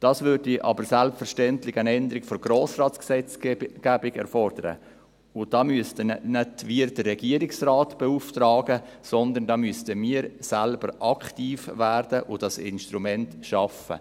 Das würde aber selbstverständlich eine Änderung der Grossratsgesetzgebung erfordern, und damit müssen nicht wir den Regierungsrat beauftragen, sondern da müssten wir selber aktiv werden und dieses Instrument schaffen.